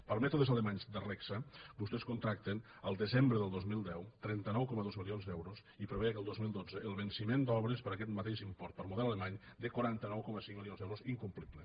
per mètodes alemanys de regsa vostès contracten el desembre del dos mil deu trenta nou coma dos milions d’euros i preveu que el dos mil dotze el venciment d’obres per aquest mateix import per model alemany de quaranta nou coma cinc milions d’euros incomplible